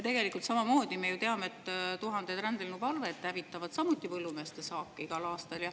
Tegelikult me ju teame, et tuhanded rändlinnuparved hävitavad samuti põllumeeste saaki igal aastal.